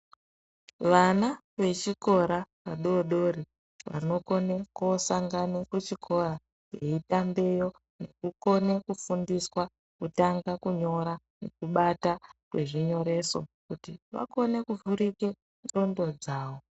Vana vechikora vadodori vanokone kosangane kuchikora veitambeyo nekukone kufundiswa kutanga kunyora nekubata zvinyoreso kuti vakone kuvhurike ndxondo dzawo.